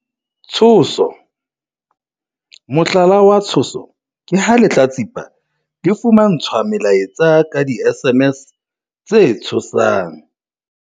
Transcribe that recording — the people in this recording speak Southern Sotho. Tshoso- Mohlala wa tshoso ke ha lehlatsipa le fumantshwa melaetsa ka di-SMS tse tshosang.